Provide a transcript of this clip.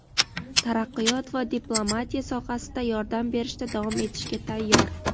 taraqqiyot va diplomatiya sohasida yordam berishda davom etishga tayyor.